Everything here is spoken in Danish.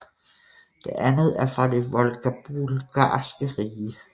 Det andet er fra det Volgabulgarske rige